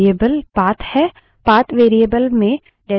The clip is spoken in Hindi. अगला environment variable path path है